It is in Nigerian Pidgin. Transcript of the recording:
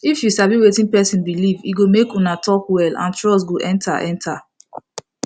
if you sabi wetin person believe e go make una talk well and trust go enter enter